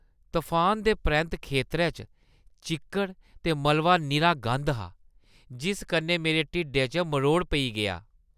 तफानै दे परैंत्त खेतरै च चिक्कड़ ते मलबा निरा गंदा हा, जिस कन्नै मेरे ढिड्डै च मरोड़ पेई गेआ।